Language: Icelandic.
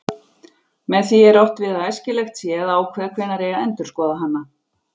Með því er átt við að æskilegt sé að ákveða hvenær eigi að endurskoða hana.